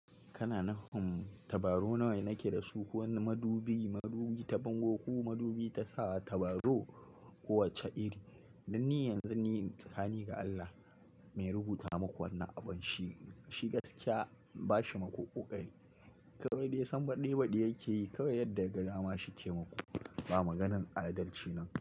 Kana nufin tabaro nawane nake da su ko wane madubi, madubi ta bango ko madubi ta sa tabaro, kowacce iri? Dan ni yanzu ni tsakani ga Allah, mai rubuta maku wannan abun, shi gaskiya ba shi maku ƙoƙari. Kawai dai san baɗi baɗi yake yi, kawai yadda ya ga dama shi ke maku. Ba maganan adalci nan.